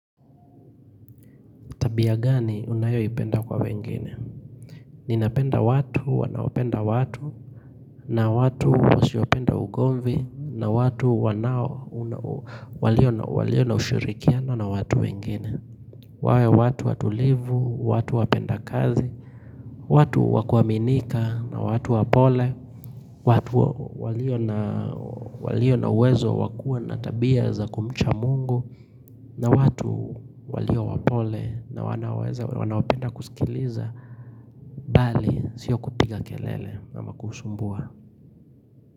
Tabia gani unayoipenda kwa wengine? Ninapenda watu wanaopenda watu na watu usiopenda ugomvi, na watu wanao, walio na ushirikiano na watu wengine. Wawe watu watulivu, watu wapenda kazi, watu wakuaminika na watu wapole, watu waliona uwezo wa kuwa na tabia za kumcha mungu na watu walio wapole na wanaweza wanaopenda kusikiliza bali sio kupiga kelele ama kusumbua.